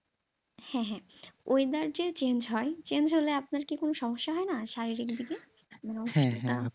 হ্যাঁ হ্যাঁ weather যে change হয়, change হলে আপনার কি কোন সমস্যা হয় না, শারীরিক দিকে হ্যাঁ হ্যাঁ